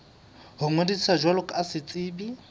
ho ngodisa jwalo ka setsebi